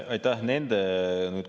Aitäh!